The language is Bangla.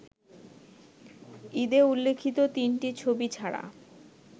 ঈদে উল্লেখিত তিনটি ছবি ছাড়া